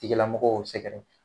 Tigilamɔgɔw sɛgɛrɛ